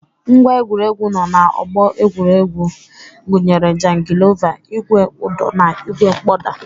Ngwá egwuregwu nọ na ọgbọ egwuregwu gụnyere jangilova, ìgwè ụdọ na ìgwè mkpọda.